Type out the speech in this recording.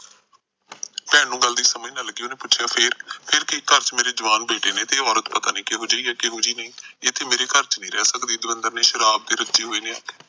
ਭੈਣ ਨੂੰ ਗੱਲ ਦੀ ਸਮੱਜ਼ ਨਾ ਲੱਗੀ ਓਹਨੇ ਪੁੱਛਯਾ ਫੇਰ, ਫੇਰ ਕੀ ਘਰ ਚ ਮੇਰਾ ਜਵਾਨ ਬੇਟੇ ਨੇ ਉਹ ਅੋਰਤ ਪਤਾ ਨੀ ਕਿਹੋ ਜੀ ਆ ਕਹੋ ਜੀ ਨਹੀ ਇਥੇ ਮੇਰੇ ਘਰ ਚ ਨੀ ਰਹਿ ਸਕਦੀ ਦਵਿੰਦਰ ਨੇ ਸ਼ਰਾਬ ਚ ਰੱਜੇ ਹੋਏ ਨੇ ਆਖਿਆ